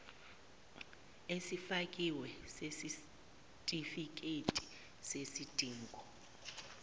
esifakiwe sesitifiketi sesidingo